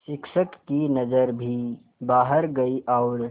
शिक्षक की नज़र भी बाहर गई और